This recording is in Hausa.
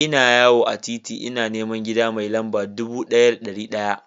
Ina yawo a titi ina neman gida mai lamba dubu ɗaya da ɗari ɗaya.